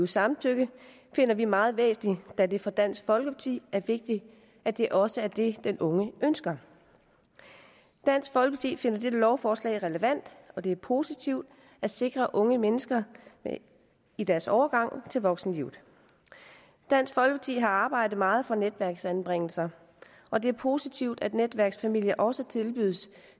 samtykke finder vi meget væsentligt da det for dansk folkeparti er vigtigt at det også er det den unge ønsker dansk folkeparti finder dette lovforslag relevant det er positivt at sikre unge mennesker i deres overgang til voksenlivet dansk folkeparti har arbejdet meget for netværksanbringelser og det er positivt at netværksfamilier også tilbydes